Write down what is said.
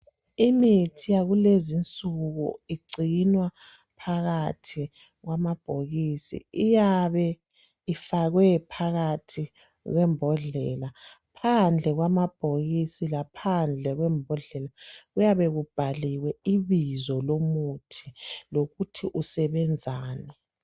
Imithi yakulezi insuku ingcinwa phakathi kwamabhokisi iyabe ifakwe phakathi kwembondlela, phandle kwamabhokisi laphandle kwembodlela kuyabe kubhaliwe ibizo lomuthi lokuthi usebenzani.